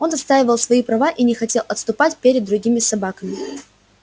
он отстаивал свои права и не хотел отступать перед другими собаками